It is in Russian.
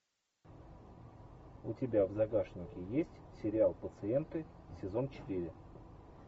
у тебя в загашнике есть сериал пациенты сезон четыре